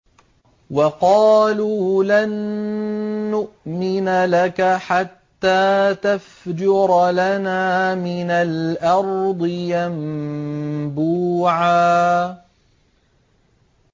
وَقَالُوا لَن نُّؤْمِنَ لَكَ حَتَّىٰ تَفْجُرَ لَنَا مِنَ الْأَرْضِ يَنبُوعًا